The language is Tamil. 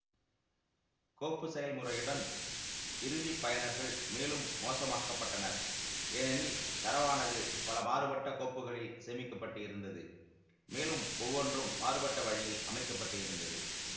கோப்பு செயல்முறையுடன் இறுதி பயனர்கள் மேலும் மோசமாக்கப்பட்டனர் ஏனெனில் தரவானது பல மாறுபட்ட கோப்புகளில் சேமிக்க பட்டு இருந்தது மேலும் ஒவ்வொன்றும் மாறுபட்ட வழியில் அமைக்க பட்டு இருந்தது